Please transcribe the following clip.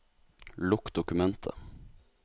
Lukk dokumentet